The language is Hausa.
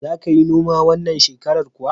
Za ka yi noma wannan shekarar kuwa?